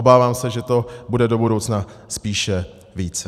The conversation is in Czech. Obávám se, že to bude do budoucna spíše více.